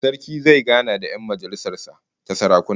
Sarki zai gana da 'yan majalisar sa ta sarakuna